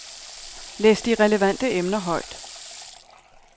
Læs de relevante emner højt.